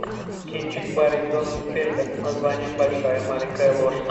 кинчик барри зонненфельда с названием большая маленькая ложь